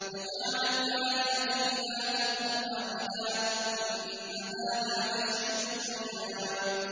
أَجَعَلَ الْآلِهَةَ إِلَٰهًا وَاحِدًا ۖ إِنَّ هَٰذَا لَشَيْءٌ عُجَابٌ